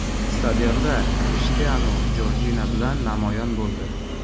Stadionda Krishtianu Jorjina bilan namoyon bo‘ldi .